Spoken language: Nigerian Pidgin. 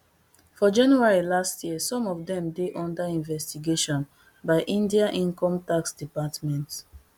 for january last year some of dem dey under investigation by india incometax department